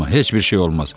Qorxma, heç bir şey olmaz.